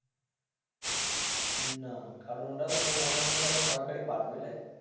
না কারণ ওটাও মনে হয় যেন সরকারি পার্ক বুঝলে,